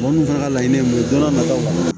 Mɔgɔ minnu fana ka laɲini ye mun ye don n'a nataw la